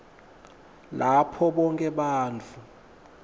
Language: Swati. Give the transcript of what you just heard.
lapho bonkhe bantfu